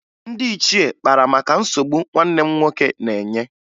Ndị ichie kpara maka nsogbu nwanne m nwoke na-enye